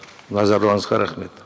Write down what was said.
назарларыңызға рахмет